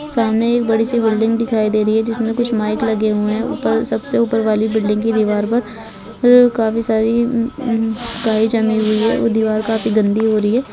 सामने एक बड़ी सी बिल्डिंग दिखाई दे रही है जिसमे कुछ माइक लगे हुए है ऊपर सबसे ऊपर वाली बिल्डिंग की दिवार पर काफी सारी काई जमी हुई है दिवार काफी गन्दी हो रही है।